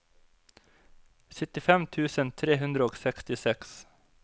syttifem tusen tre hundre og sekstiseks